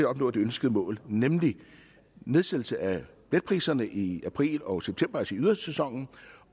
opnå det ønskede mål nemlig nedsættelse af billetpriserne i april og september altså i ydersæsonen